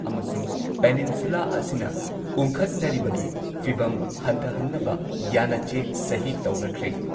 ꯑꯃꯁꯨꯡ ꯄꯦꯅꯤꯟꯁꯨꯂꯥ ꯑꯁꯤꯅ ꯎꯪꯈꯠꯅꯔꯤꯕꯒꯤ ꯐꯤꯚꯝ ꯍꯟꯊꯍꯟꯅꯕ ꯌꯥꯟꯅꯆꯦ ꯁꯍꯤ ꯇꯧꯅꯈ꯭ꯔꯦ ꯫